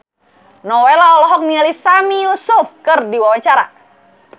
Nowela olohok ningali Sami Yusuf keur diwawancara